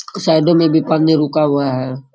साईडों में भी पानी रुका हुआ है।